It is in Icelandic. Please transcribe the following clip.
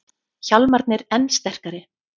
Hjálmarnir enn sterkari